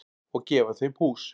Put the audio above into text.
Og gefa þeim hús.